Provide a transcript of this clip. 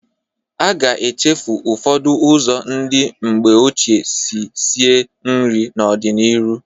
A ga-echefu ụfọdụ ụzọ ndị mgbe ochie si sie nri n'ọ dị n'ịrụ.